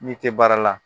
N'i tɛ baara la